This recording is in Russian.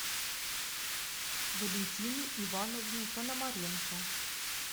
валентины ивановны пономаренко